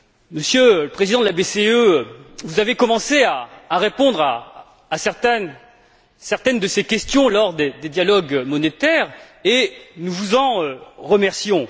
Monsieur le Président de la BCE, vous avez commencé à répondre à certaines de ces questions lors des dialogues monétaires et nous vous en remercions.